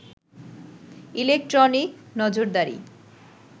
electronic নজরদারি